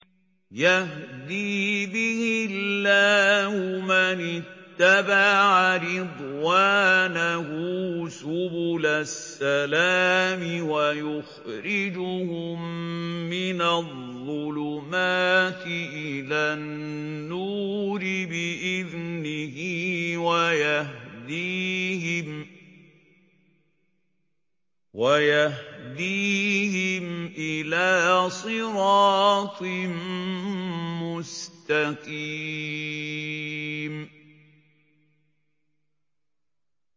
يَهْدِي بِهِ اللَّهُ مَنِ اتَّبَعَ رِضْوَانَهُ سُبُلَ السَّلَامِ وَيُخْرِجُهُم مِّنَ الظُّلُمَاتِ إِلَى النُّورِ بِإِذْنِهِ وَيَهْدِيهِمْ إِلَىٰ صِرَاطٍ مُّسْتَقِيمٍ